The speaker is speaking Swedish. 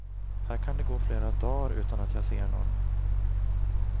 Här kan det gå flera dagar utan att jag ser nån.